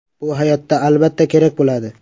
Bu hayotda, albatta, kerak bo‘ladi.